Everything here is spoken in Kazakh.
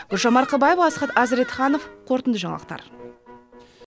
гүлжан марқабаева асхат әзіретханов қорытынды жаңалықтар